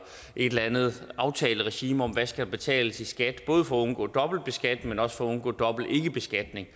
et land andet aftaleregime om hvad der skal betales i skat både for at undgå dobbeltbeskatning men også for at undgå dobbelt ikkebeskatning